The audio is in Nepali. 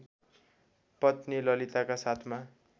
पत्नी ललिताका साथमा